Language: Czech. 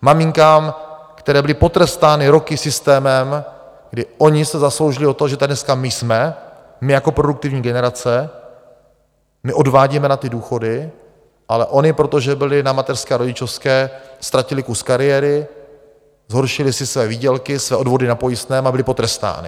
Maminkám, které byly potrestány roky systémem, kdy ony se zasloužily o to, že tady dneska my jsme, my jako produktivní generace, my odvádíme na ty důchody, ale ony, protože byly na mateřské a rodičovské, ztratily kus kariéry, zhoršily si své výdělky, své odvody na pojistném a byly potrestány.